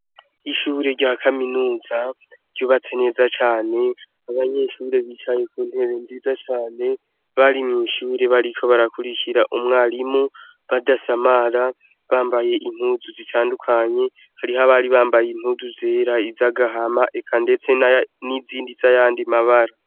Ishure rya kaminuza ryubatse neza cane abanyeshure bicaye ku ntebe nziza cane bari mw’ishure bariko barakurikira umwarimu badasamara bambaye impuzu zitandukanye hariho abari bambaye impuzu zera, izagahama eka ndetese n’izindi zayandi mabara.